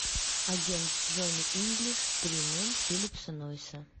агент джонни инглиш три ноль филлипа нойса